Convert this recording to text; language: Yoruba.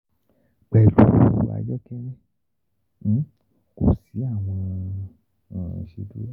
Pẹlu ayokele, ko si awọn um iṣeduro.